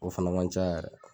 O fana man ca yɛrɛ